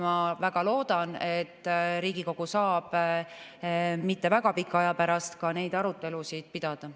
Ma väga loodan, et Riigikogu saab mitte väga pika aja pärast ka neid arutelusid pidada.